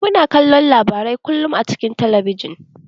Muna kallon labarai kullun a cikin talabijin.